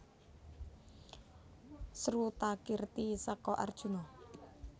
Srutakirti seka Arjuna